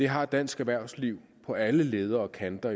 har dansk erhvervsliv jo på alle ledder og kanter